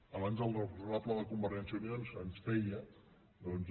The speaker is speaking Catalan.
abans el responsable de convergència i unió ens feia doncs